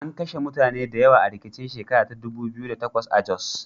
An kashe mutane da yawa a rikicin shekar ta dubu biyu da takwas a Jos.